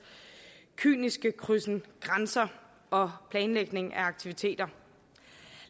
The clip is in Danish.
kyniske krydsen grænser og planlægning af aktiviteter